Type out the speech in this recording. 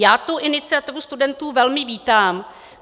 Já tu iniciativu studentů velmi vítám.